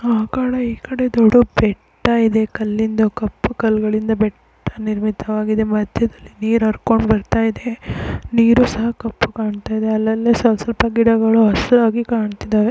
ಆಕಡೆ ಈಕಡೆ ದೊಡ್ಡ ಬೆಟ್ಟ ಇದೆ ಕಲ್ಲಿಂದ ಕಪ್ಪು ಕಲ್ಲುಗಳಿಂದ ಬೆಟ್ಟ ನಿರ್ಮಿತವಾಗಿದೆ ಮಧ್ಯದ್ಲಲಿ ನೀರ್ ಹರ್ಕೊಂಡು ಬರ್ತಾ ಇದೇ ನೀರ್ ಸಹ ಕಪ್ಪುಗೆ ಕಾಣ್ತಾಯಿದೆ ಅಲ್ಲಲ್ಲಿ ಸ್ವಲ್ಪ ಗಿಡಗಳು ಹಸಿರಾಗಿ ಕಾಣ್ತಿದ್ದಾವೆ .